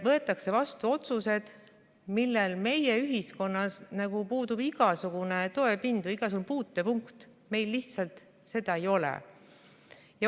Võetakse vastu otsused, millel meie ühiskonnas puudub igasugune toetuspind või igasugune puutepunkt, meil lihtsalt seda ei ole.